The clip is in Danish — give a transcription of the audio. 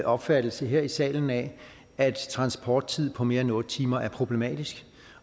opfattelse her i salen af at transporttid på mere end otte timer er problematisk